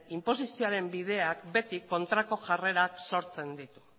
inposizioaren bideak beti kontrako jarrerak sortzen ditu